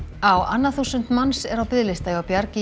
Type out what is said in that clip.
á annað þúsund manns er á biðlista hjá Bjargi